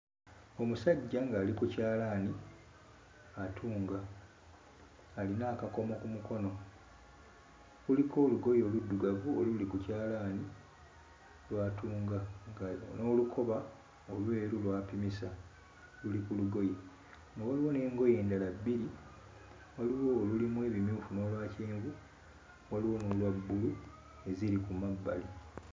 Omusajja ng'ali ku kyalaani atunga, alina akakomo ku mukono, kuliko olugoye oluddugavu oluli ku kyalaani lw'atunga nga n'olukoba olweru lw'apimisa luli ku lugoye, nga waliwo n'engoye endala bbiri, waliwo olulimu ebimyufu n'olwa kyenvu, waliwo n'olwa bbulu eziri ku mabbali.